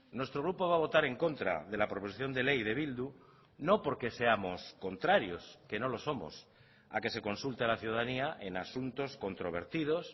nuestro grupo va a votar en contra de la proposición de ley de bildu no porque seamos contrarios que no lo somos a que se consulte a la ciudadanía en asuntos controvertidos